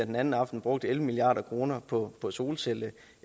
den anden aften brugte elleve milliard kroner på på solcelleenergi